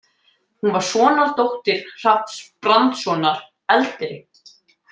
Hún var sonardóttir Hrafns Brandssonar eldri.